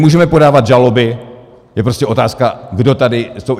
Můžeme podávat žaloby, je prostě otázka, kdo tady...